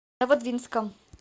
новодвинском